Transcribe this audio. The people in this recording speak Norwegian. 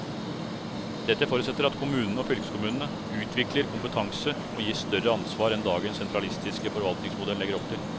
Dette forutsetter at kommunene og fylkeskommunene utvikler kompetanse og gis større ansvar enn dagens sentralistiske forvaltningsmodell legger opp til.